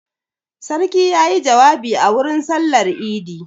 Sarki ya yi jawabi a wurin sallar idi.